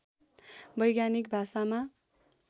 वैज्ञानिक भाषामा